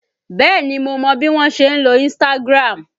Bẹ́ẹ̀ni mo mọ bí wọ́n ṣe ń lo Instagram